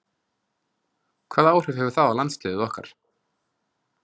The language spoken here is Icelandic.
Hvaða áhrif hefur það á landsliðið okkar?